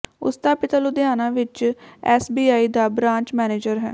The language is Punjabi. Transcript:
ਉਸ ਦਾ ਪਿਤਾ ਲੁਧਿਆਣਾ ਵਿਚ ਐੱਸਬੀਆਈ ਦਾ ਬਰਾਂਚ ਮੈਨੇਜਰ ਹੈ